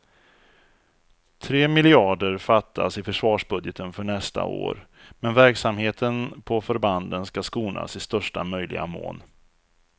Tre miljarder fattas i försvarsbudgeten för nästa år, men verksamheten på förbanden ska skonas i största möjliga mån.